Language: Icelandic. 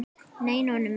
Nei, Nonni minn.